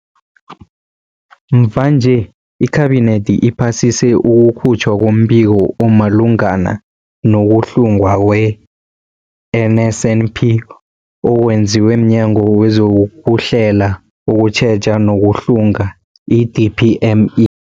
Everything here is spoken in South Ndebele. Mvanje, iKhabinethi iphasise ukukhutjhwa kombiko omalungana no-kuhlungwa kwe-NSNP okwenziwe mNyango wezokuHlela, ukuTjheja nokuHlunga, i-DPME.